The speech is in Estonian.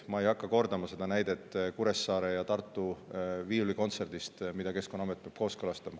Ma ei hakka kordama seda näidet Kuressaare ja Tartu viiulikontserdi kohta, mida Keskkonnaamet peab kooskõlastama.